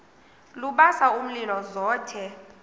lubasa umlilo zothe